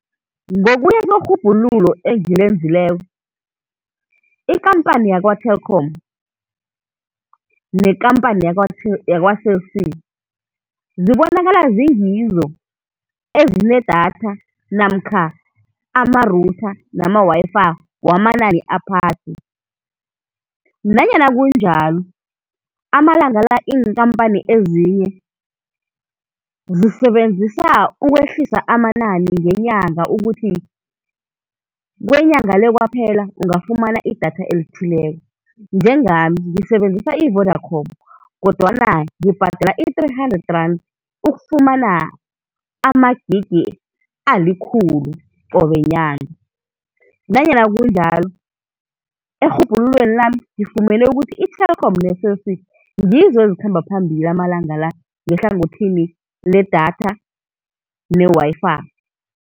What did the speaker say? Ngokuya kwerhubhululo engilenzileko, ikhamphani yakwa-Telkom nekhamphani yakwa-Cell C zibonakala zingizo ezinedatha namkha amarutha namawayifayi wamanani aphasi. Nanyana kunjalo, amalanga la iinkhampha ezinye zisebenzisa ukwehlisa amanani ngenyanga ukuthi kwenyanga le kwaphela ungafumana idatha elithileko. Njengami ngisebenzisa i-Vodacom, kodwana ngibhadela i-three hundred rand ukufumana amagigi alikhulu qobe nyanga, nanyana kunjalo erhubhululweni lami ngifumene ukuthi i-Telkom ne-Cell C ngizo ezikhamba phambili amalanga la ngehlangothini ledatha newayifayi.